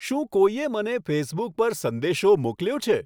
શું કોઈએ મને ફેસબુક પર સંદેશો મોકલ્યો છે